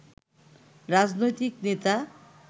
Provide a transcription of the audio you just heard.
রাজনৈতিক নেতা